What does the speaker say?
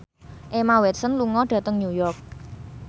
Emma Watson lunga dhateng New York